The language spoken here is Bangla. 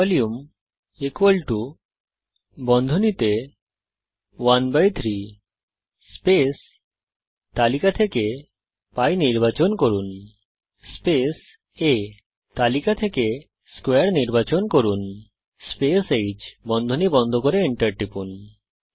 ভলিউম 13 π আ² হ্ ভলিউম বন্ধনী খুলুন 13 স্পেস তালিকা থেকে π নির্বাচন করুন স্পেস আ তালিকা থেকে স্কোয়ারে নির্বাচন করুন স্পেস হ্ বন্ধনী বন্ধ করুন এন্টার টিপুন